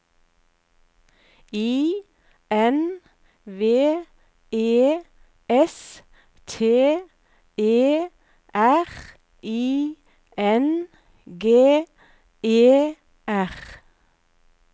I N V E S T E R I N G E R